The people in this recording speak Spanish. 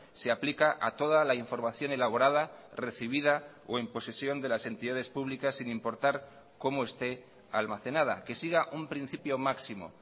se aplica a toda la información elaborada recibida o en posesión de las entidades públicas sin importar cómo esté almacenada que siga un principio máximo